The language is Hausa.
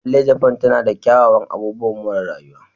Lallai, Japan tana da kyawawan abubuwan more rayuwa.